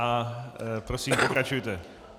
A prosím pokračujte.